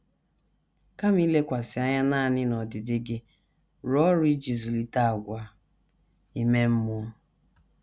Kama ilekwasị anya nanị n’ọdịdị gị, rụọ ọrụ iji zụlite àgwà ime mmụọ